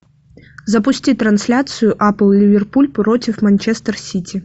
запусти трансляцию апл ливерпуль против манчестер сити